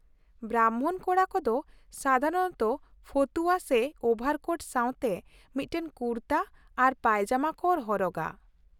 ᱵᱨᱟᱢᱵᱷᱚᱱ ᱠᱚᱲᱟ ᱠᱚᱫᱚ ᱥᱟᱫᱷᱟᱨᱚᱱᱚᱛᱚ ᱯᱷᱚᱛᱩᱣᱟ ᱥᱮ ᱳᱵᱷᱟᱨ ᱠᱳᱴ ᱥᱟᱶᱛᱮ ᱢᱤᱫᱴᱟᱝ ᱠᱩᱨᱛᱟᱹ ᱟᱨ ᱯᱟᱭᱡᱟᱢᱟ ᱠᱚ ᱦᱚᱨᱚᱜᱟ ᱾